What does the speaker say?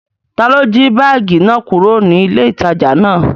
Taló jí báàgì náà kúrò ní ilé ìtajà náà?